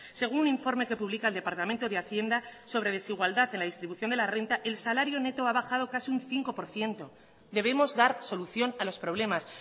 según un informe que publica el departamento de hacienda sobre desigualdad en la distribución de la renta el salario neto ha bajado casi un cinco por ciento debemos dar solución a los problemas